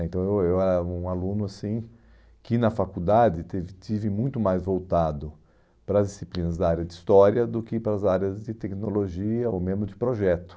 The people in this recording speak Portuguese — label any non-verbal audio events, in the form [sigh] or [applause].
Então, [unintelligible] eu era um aluno, assim, que na faculdade tive estive muito mais voltado para as disciplinas da área de história do que para as áreas de tecnologia ou mesmo de projeto.